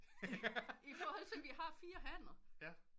I forhold til vi har fire hanner